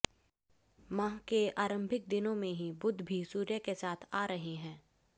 माह के आरंभिक दिनों में ही बुध भी सूर्य के साथ आ रहे हैं